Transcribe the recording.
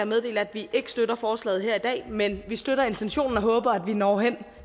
meddele at vi ikke støtter forslaget her i dag men vi støtter intentionen og håber at vi når hen